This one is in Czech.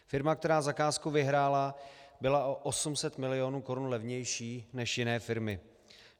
Firma, která zakázku vyhrála, byla o 800 milionů korun levnější než jiné firmy.